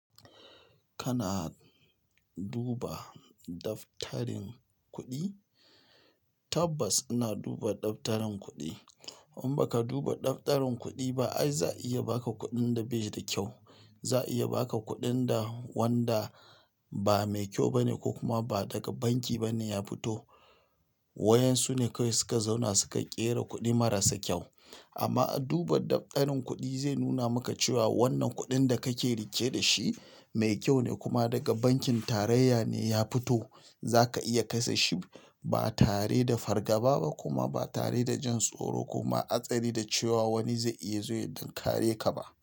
Kana duba daftarin kuɗi? Tabbas ina duba daftarin kuɗi. In baka duba daftarin kuɗi ba, ai za a iya baka kuɗin da bai da kyau. Za a iya baka kuɗin da wanda ba mai kyau bane ko kuma ba daga banki bane ya fito. Wayan su ne kawai suka zauna suka ƙera kuɗi marasa kyau. Amma a duba daftarin kuɗi zai nuna maka cewa wannan kuɗin da kake riƙe da shi mai kyau ne kuma daga bankin tarayya ne ya fito. Zaka iya kashe shi ba tare da fargaba ba kuma ba tare da jin tsoro kuma hatsari da cewa wani zai iya zo ya tinkare ka ba.